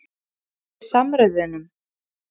Halda uppi samræðunum?